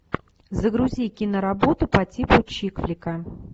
загрузи киноработу по типу чик флика